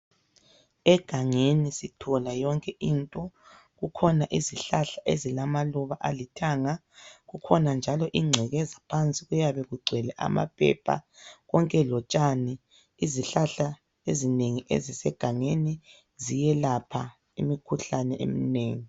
Egangeni sithola yonke into. Kukhona izihlahla ezilamaluba alithanga, kukhona njalo ingcekeza phansi, kuyabe kugcwele amaphepha konke lotshani, izihlahla ezinengi ezisegangeni ziyelapha imikhuhlane eminengi.